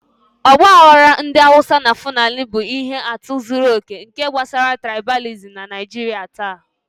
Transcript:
Ọgbaghara ndị Hausa na fulani bụ ihe atụ zuru oke nke gbasara trịbalìsịm na Naijiria taa.